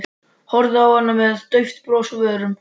Horfði á hana með dauft bros á vörunum.